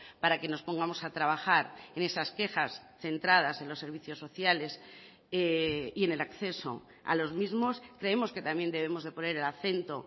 para que nos pongamos a trabajar en esas quejas centradas en los servicios sociales y en el acceso a los mismos creemos que también debemos de poner el acento